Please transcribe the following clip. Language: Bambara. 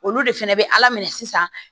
Olu de fɛnɛ bɛ ala minɛ sisan